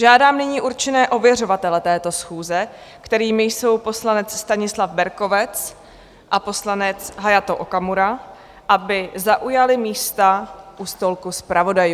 Žádám nyní určené ověřovatele této schůze, kterými jsou poslanec Stanislav Berkovec a poslanec Hayato Okamura, aby zaujali místa u stolku zpravodajů.